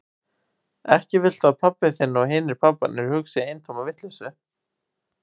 Ekki viltu að pabbi þinn og hinir pabbarnir hugsi eintóma vitleysu?